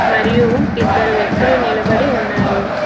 మరియు ఇద్దరు వ్యక్తులు నిలబడి ఉన్నారు.